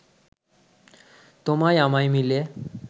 তোমায় আমায় মিলে